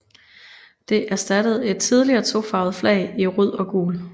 Det erstattede et tidligere tofarvet flag i rødt og gult